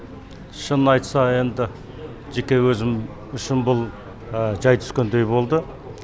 шынын айтса енді жеке өзім шын бұл жай түскендей болды